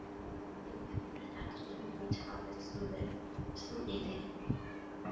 Jú, ég færði þetta stundum í tal við Þuríði.